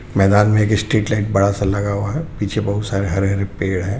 मैदान मे एक स्ट्रीट लाइट बड़ा सा लगा हुआ है पीछे बोहोत सारे हरे हरे पेड़ है.